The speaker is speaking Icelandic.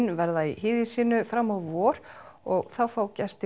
verða í híði sínu fram á vor og þá fá gestir